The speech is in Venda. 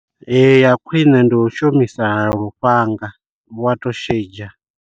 Ee ya khwine ndi u shumisa lufhanga wa to shidzha.